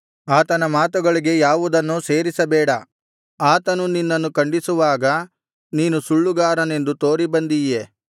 ಆತನ ಮಾತುಗಳಿಗೆ ಯಾವುದನ್ನೂ ಸೇರಿಸಬೇಡ ಆತನು ನಿನ್ನನ್ನು ಖಂಡಿಸುವಾಗ ನೀನು ಸುಳ್ಳುಗಾರನೆಂದು ತೋರಿಬಂದೀಯೆ